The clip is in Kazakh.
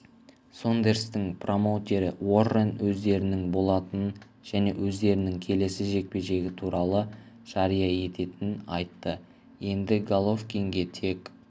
сондерстің промоутері уоррен өздерінің болатынын және өздерінің келесі жекпе-жегі туралы жария ететінін айтты енді головкинге тек